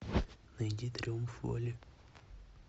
найди триумф воли